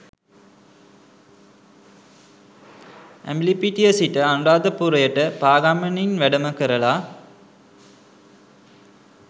ඇඹිලිපිටිය සිට අනුරාධපුරයට පා ගමනින් වැඩම කරලා